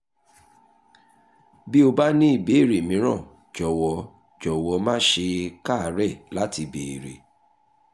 bí o bá ní ìbéèrè mìíràn jọ̀wọ́ jọ̀wọ́ má ṣe káàárẹ̀ láti béèrè